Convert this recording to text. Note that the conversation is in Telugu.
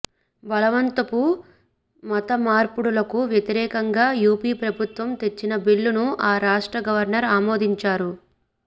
బలవంతపు మతమార్పిడులకు వ్యతిరేకంగా యూపీ ప్రభుత్వం తెచ్చిన బిల్లును ఆ రాష్ట్ర గవర్నర్ ఆమోదించారు